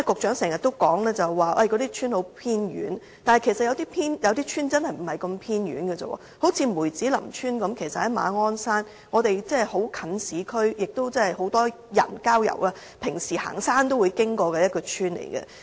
主席，局長剛才常說那些鄉村很偏遠，但其實有些鄉村真的並不偏遠，例如梅子林村其實是在馬鞍山，離市區很近，也是很多市民平時郊遊遠足會經過的鄉村。